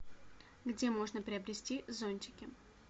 где можно приобрести зонтики